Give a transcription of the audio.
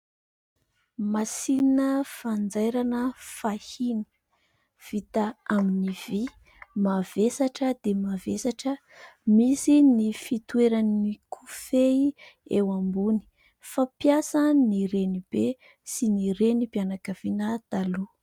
Masinina fanjairana fahiny, vita amin'ny vy, mavesatra dia mavesatra. Misy ny fitoeran'ny kofehy eo ambony. Fampiasan'ny renibe sy ny renim-pianakaviana taloha.